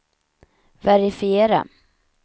verifiera